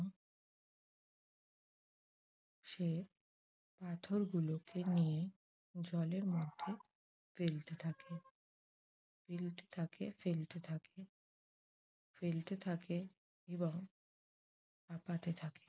সে পাথরগুলোকে নিয়ে জলের মধ্যে ফেলতে থাকে ফেলতে থাকে ফেলতে থাকে। ফেলতে থাকে এবং হাপাতে থাকে।